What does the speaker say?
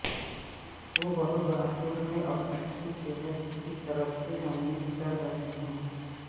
وہ بہت بہادر ہیں اور اچھی صحت کی طرف سے ممیز کر رہے ہیں